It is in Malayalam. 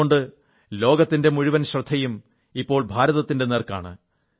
അതുകൊണ്ട് ലോകത്തിന്റെ മുഴുവൻ നോട്ടവും ഇപ്പോൾ ഭാരതത്തിന്റെ നേർക്കാണ്